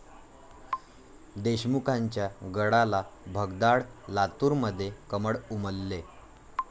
देशमुखांच्या गडाला भगदाड, लातूरमध्ये 'कमळ' उमलले